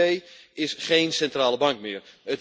De ECB is geen centrale bank meer.